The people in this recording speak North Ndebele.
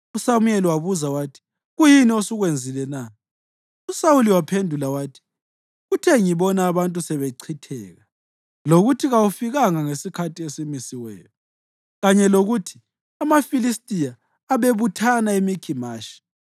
USamuyeli wabuza wathi, “Kuyini osukwenzile na?” USawuli waphendula wathi, “Kuthe ngibona abantu sebechitheka, lokuthi kawufikanga ngesikhathi esimisiweyo, kanye lokuthi amaFilistiya abebuthana eMikhimashi,